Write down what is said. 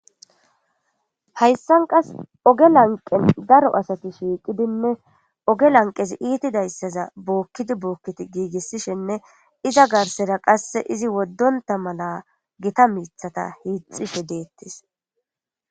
hayssan qas oge lanqen daro asati shiiqidinne oge lanqesi iitidayssaza bookkidi bookkit giigissishenne iza garsera qasse izi woddonta mala gita miithata hiixishe deettis